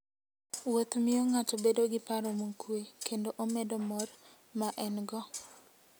Wuoth miyo ng'ato bedo gi paro mokuwe, kendo omedo mor ma en-go.